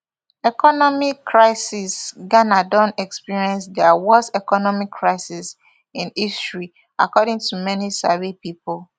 economic crisisghana don experience dia worst economic crisis in history according to many sabi pipo